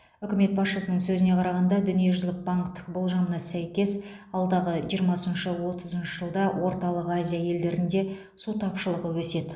үкімет басшысының сөзіне қарағанда дүниежүзілік банктің болжамына сәйкес алдағы жиырмасыншы отызыншы жылда орталық азия елдерінде су тапшылығы өседі